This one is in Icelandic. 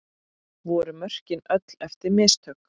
Voru mörkin öll eftir mistök?